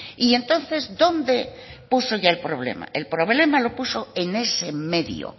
y entonces dónde puso ella el problema el problema lo puso en ese medio